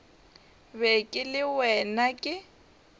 be ke le wena ke